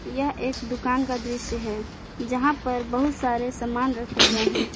यह एक दुकान का दृश्य है जहां पर बहुत सारे सामान रखे गए हैं।